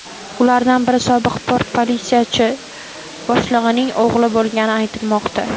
Ulardan biri sobiq port politsiyasi boshlig‘ining o‘g‘li bo‘lgani aytilmoqda.